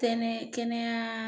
Kɛnɛ kɛnɛya